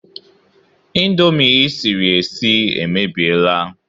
Indomi ị siri esie emebiela